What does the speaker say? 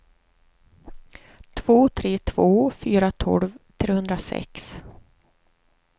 två tre två fyra tolv trehundrasex